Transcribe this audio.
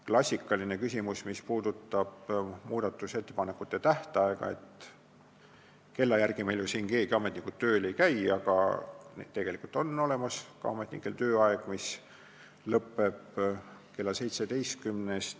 Klassikaline küsimus, mis puudutab muudatusettepanekute esitamise tähtaega, on see, et kella järgi meil ju siin ametnikud tööl ei käi, aga tegelikult on ka ametnikel tööaeg, mis lõpeb kell 17.